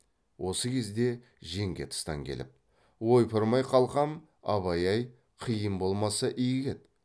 осы кезде жеңге тыстан келіп ойпырмай қалқам абай ай қиын болмаса игі еді